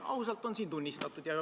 Ausalt on seda tunnistatud.